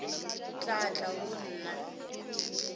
o tla tla go nna